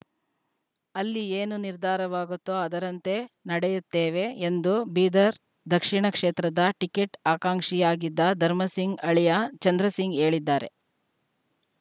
ಅಲ್ಲಿ ಏನು ನಿರ್ಧಾರವಾಗುತ್ತೋ ಅದರಂತೆ ನಡಿಯುತ್ತೇವೆ ಎಂದು ಬೀದರ್‌ ದಕ್ಷಿಣ ಕ್ಷೇತ್ರದ ಟಿಕೆಟ್‌ ಆಕಾಂಕ್ಷಿ ಆಗಿದ್ದ ಧರ್ಮಸಿಂಗ್‌ ಅಳಿಯ ಚಂದ್ರಸಿಂಗ್‌ ಹೇಳಿದ್ದಾರೆ